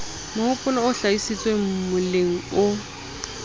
mohopolo o hlahisitsweng moleng o